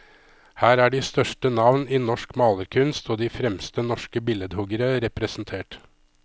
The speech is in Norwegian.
Her er de største navn i norsk malerkunst og de fremste norske billedhuggere representert.